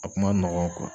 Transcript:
A kun ma nɔgɔn